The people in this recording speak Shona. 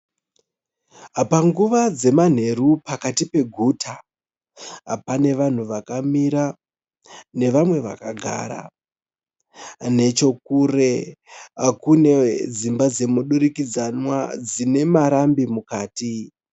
Panguva dzemanheru pakati peguta pane vanhu vakamira nevamwe vakagara. Nechokure kune dzimba dzemudurikidzanwa dzine marambi mukati.